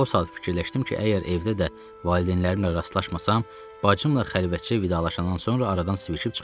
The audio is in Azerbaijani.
O saat fikirləşdim ki, əgər evdə də valideynlərimlə rastlaşmasam, bacımla xəlvətcə vidalaşandan sonra aradan sıvişib çıxaram.